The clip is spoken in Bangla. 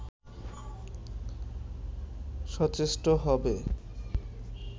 সচেষ্ট হবে